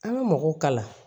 An ka mɔgɔw kalan